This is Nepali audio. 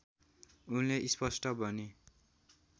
उनले स्पष्ट भने